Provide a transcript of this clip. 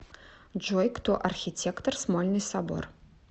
джой кто архитектор смольный собор